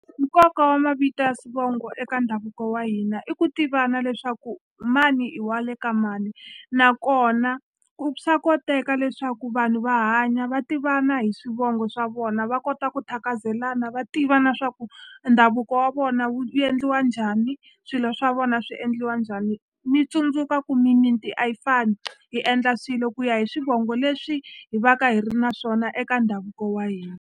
Nkoka wa mavito ya swivongo eka ndhavuko wa hina i ku tivana leswaku mani i wa le ka mani nakona ku swa koteka leswaku vanhu va hanya va tivana hi swivongo swa vona va kota ku thakazelana va tiva na swa ku e ndhavuko wa vona wu endliwa njhani swilo swa vona swi endliwa njhani mi tsundzuka ku mimiti a yi fani hi endla swilo ku ya hi swivongo leswi hi va ka hi ri na swona eka ndhavuko wa hina.